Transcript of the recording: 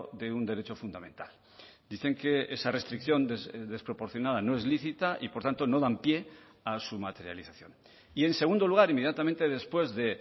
de un derecho fundamental dicen que esa restricción desproporcionada no es lícita y por tanto no dan pie a su materialización y en segundo lugar inmediatamente después de